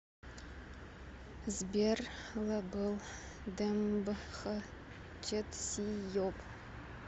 сбер лбл демб х чедсийоб